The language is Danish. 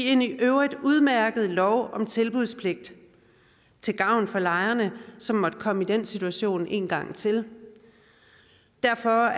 en i øvrigt udmærket lov om tilbudspligt til gavn for lejerne som måtte komme i den situation en gang til derfor